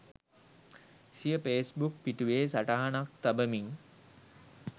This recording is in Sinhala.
සිය ෆේස්බුක් පිටුවේ සටහනක් තබමින්